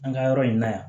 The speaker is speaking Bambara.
An ka yɔrɔ in na yan